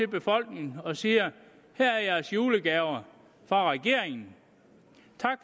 befolkningen og siger her er jeres julegaver fra regeringen